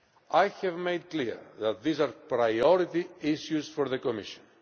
I have made clear that these are priority issues for the Commission.